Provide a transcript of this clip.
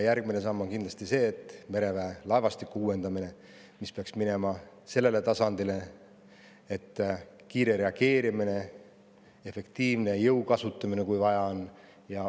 Järgmine samm on kindlasti mereväe laevastiku uuendamine, mis peaks jõudma sellele tasandile, et oleks kiire reageerimine ning kui vaja, siis ka efektiivne jõu kasutamine.